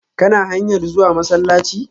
Kana hanyar zuwa masallaci?